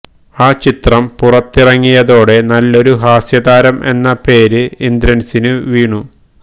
ആ ചിത്രം പുറത്തിറങ്ങിയതോടെ നല്ലെരു ഹാസ്യതാരം എന്ന പേര് ഇന്ദ്രൻസിനു വീണു